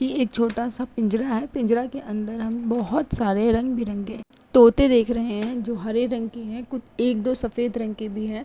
ये एक छोटा-सा पिंजड़ा है। पिंजड़ा के अन्दर हम बोहोत सारे रंग बिरंगे तोते देख रहे हैं जो हरे रंग के हैं। कुत एक-दो सफ़ेद रंग के भी हैं।